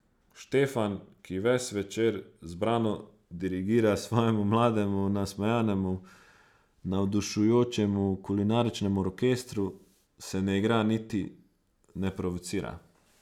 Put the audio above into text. Štefan, ki ves večer zbrano dirigira svojemu mlademu, nasmejanemu, navdušujočemu kulinaričnemu orkestru, se ne igra niti ne provocira.